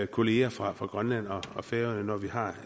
kolleger fra fra grønland og færøerne når vi har